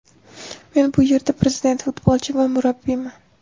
Men bu yerda prezident, futbolchi va murabbiyman!